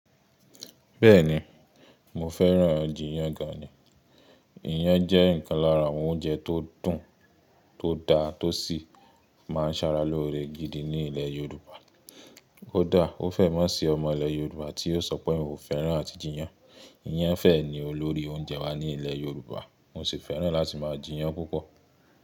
Bẹ́ẹ̀ni, mo fẹ́ràn-an jíyàn gan ni. Iyán jẹ́ ìkan lára àwọn oúnjẹ tó dùn tó dá tó sì máa ń sara lóore gidi ní ilẹ̀ Yorùbá. Ó dà, kó fẹ́ mọ́ ṣi ọmọ ilẹ̀ Yorùbá tí yóò sọ pé òun kò fẹ́ràn àtijeyán. Iyán fẹ́ẹ̀ ni olórí oúnjẹ wá ní ilẹ̀ Yorùbá. Mo sì fẹ́ràn láti máa jeyàn púpọ̀.